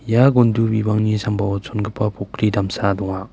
ia gondu bimango sambao chongipa pokri damsa donga.